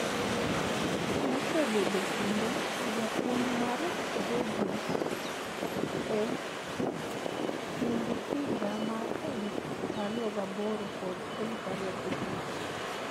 Nosebedo kendo japuonj mar Georgia e kind higa mar 2008 kod 2009.